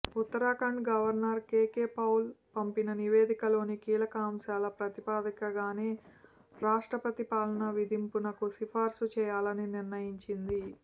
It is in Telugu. ఉత్తరాఖండ్ గవర్నర్ కెకె పౌల్ పంపిన నివేదికలోని కీలక అంశాల ప్రాతిపదికగానే రాష్టప్రతి పాలన విధింపునకు సిఫార్సు చేయాలని నిర్ణయించింది